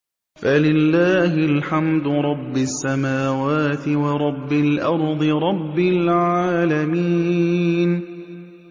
فَلِلَّهِ الْحَمْدُ رَبِّ السَّمَاوَاتِ وَرَبِّ الْأَرْضِ رَبِّ الْعَالَمِينَ